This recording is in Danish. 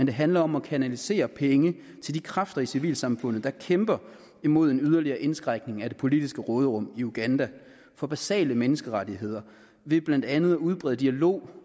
det handler om at kanalisere penge til de kræfter i civilsamfundet der kæmper imod en yderligere indskrænkning af det politiske råderum i uganda og for basale menneskerettigheder ved blandt andet at udbrede dialogen